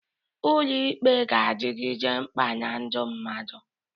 Ụlọ ikpe ga-adịgide mkpa na ndụ mmadụ.